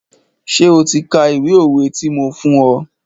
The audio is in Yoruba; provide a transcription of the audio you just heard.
Ṣé o ti ka ìwé òwe ti mo fún ọ?